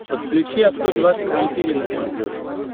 подключи авто двадцать четыре на смотрешке